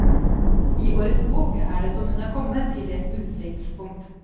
I årets bok er det som hun er kommet til et utsiktspunkt.